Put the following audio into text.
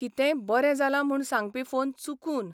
कितेंय बरें जालां म्हूण सांगपी फोन चुकून.